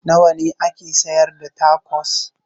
Nawa ne ake sayar da tacos?